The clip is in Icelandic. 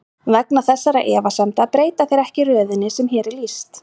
Vegna þessara efasemda breyta þeir ekki röðinni sem hér er lýst.